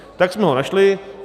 - Tak jsme ho našli.